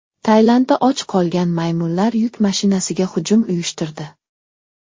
Tailandda och qolgan maymunlar yuk mashinasiga hujum uyushtirdi.